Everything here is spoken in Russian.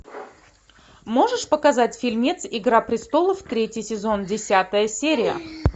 можешь показать фильмец игра престолов третий сезон десятая серия